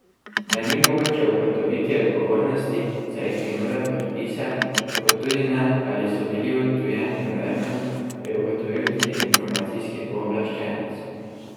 Da ni mogoče ugotoviti odgovornosti za izginule podpise, kot tudi ne, ali so bili odtujeni namerno, je ugotovil tudi Informacijski pooblaščenec.